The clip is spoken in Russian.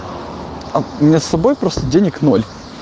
а у меня с собой просто денег ноль